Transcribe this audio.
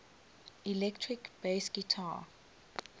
electric bass guitar